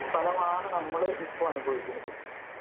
ഫലമാണ് നമ്മൾ ഇപ്പോൾ അനുഭവിക്കുന്നത്.